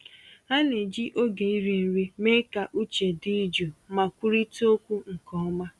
Ha na-eji oge iri nri mee ka uche dị jụụ ma kwurịta okwu nke ọma.